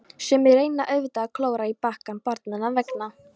Sumir reyna auðvitað að klóra í bakkann barnanna vegna.